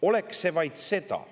Oleks see vaid seda.